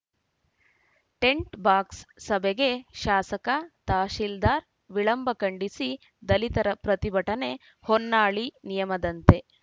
tint ಬಾಕ್ಸ್‌ ಸಭೆಗೆ ಶಾಸಕ ತಹಶೀಲ್ದಾರ್‌ ವಿಳಂಬ ಖಂಡಿಸಿ ದಲಿತರ ಪ್ರತಿಭಟನೆ ಹೊನ್ನಾಳಿ ನಿಯಯದಂತೆ